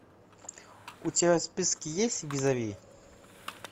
у тебя в списке есть визави